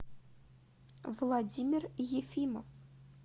владимир ефимов